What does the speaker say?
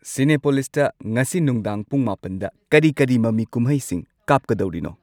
ꯁꯤꯅꯦꯄꯣꯂꯤꯁꯇ ꯉꯁꯤ ꯅꯨꯡꯗꯥꯡ ꯄꯨꯡ ꯃꯥꯄꯟꯗ ꯀꯔꯤ ꯀꯔꯤ ꯃꯃꯤ ꯀꯨꯝꯍꯩꯁꯤꯡ ꯀꯥꯞꯀꯗꯧꯔꯤꯅꯣ